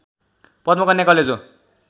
Padmakanya college हो